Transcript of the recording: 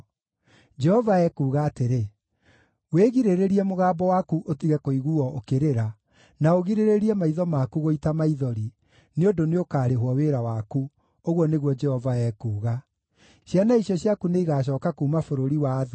Jehova ekuuga atĩrĩ: “Wĩgirĩrĩrie mũgambo waku ũtige kũiguuo ũkĩrĩra, na ũgirĩrĩrie maitho maku gũita maithori, nĩ ũndũ nĩũkarĩhwo wĩra waku,” ũguo nĩguo Jehova ekuuga. “Ciana icio ciaku nĩigacooka kuuma bũrũri wa thũ.